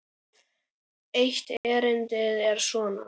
Eitt erindið er svona